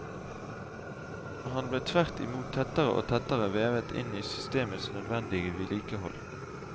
Han ble tvert imot tettere og tettere vevet inn i systemets nødvendige vedlikehold.